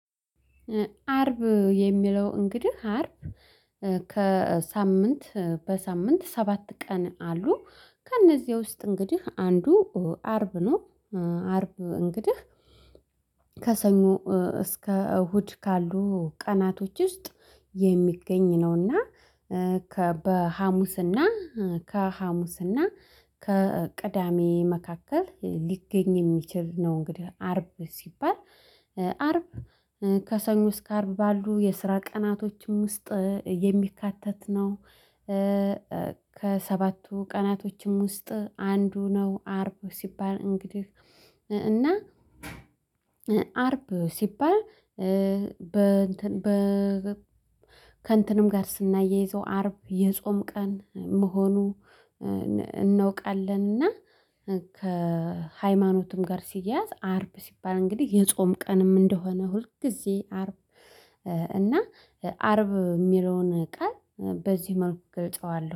አርብ የሚለው እንግዲህ አርብ ከሳምንት በሳምንት ሰባት ቀን አሉ። ከእነዚህ ውስጥ እንግዲህ አንዱ አርብ ነው። አርብ እንግዲህ ከሰኞ እስከ እሁድ ካሉ ቀናቶች ውስጥ የሚገኝ ነው። እና ከበሀሙስ እና ከሀሙስና ከቅዳሜ መካከል ሊገኝ የሚችል ነው። እንግዲህ አርብ ሲባል አርብ ከሰኞ እስከ አርብ ባሉ የስራ ቀናቶችም ውስጥ የሚካተት ነው። ከሰባቱ ቀናቶችም ውስጥ አንዱ ነው። አርብ ሲባል እንግዲህ እና አርብ ሲባል በ በ ከእንትንም ጋር ስናየዘው አርብ የጾም ቀን መሆኑ እናውቃለን። እና ከሃይማኖቱም ጋር ሲያያዝ አርብ ሲባል እንግዲህ የጾም ቀንም እንደሆነ ሁልጊዜ አርብ እና አርብ የሚለውን ቃል በዚህ መልኩ ገልጸዋለሁ